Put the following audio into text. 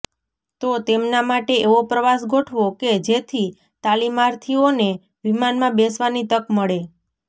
તો તેમના માટે એવો પ્રવાસ ગોઠવો કે જેથી તાલીમાર્થીઓને વિમાનમાં બેસવાની તક મળે